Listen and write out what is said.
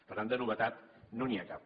per tant de novetat no n’hi ha cap